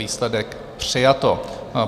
Výsledek: přijato.